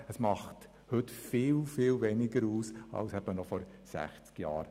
Dieser Anteil ist heute viel kleiner als noch vor 60 Jahren.